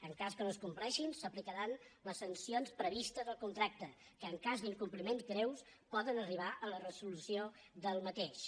en cas que no es compleixin s’aplicaran les sancions previstes al contracte que en cas d’incompliment greu poden arribar a la resolució d’aquest